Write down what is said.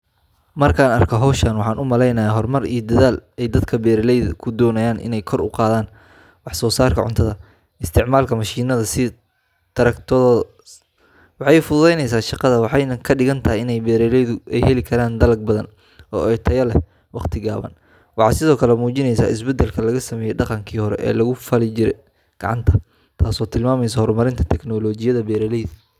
Markaan arko hawshan, waxaan u malaynayaa horumar iyo dadaal ay dadka beeraleyda ah ku doonayaan inay kor ugu qaadaan wax soo saarka cuntada. Isticmaalka mashiinada sida taraktoorka waxay fududeynaysaa shaqada, waxayna ka dhigan tahay in beeraleydu ay heli karaan dalag badan oo tayo leh wakhti gaaban. Waxay sidoo kale muujinaysaa isbeddelka laga sameeyay dhaqankii hore ee lagu falan jiray gacanta, taasoo tilmaamaysa horumarinta tiknoolajiyadda beeralayda.